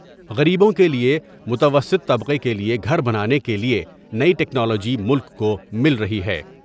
غریبوں کے لئے ، متوسط طبقے کے لئے گھر بنانے کے لئے نئی ٹیکنالوجی ملک کومل رہی ہے ۔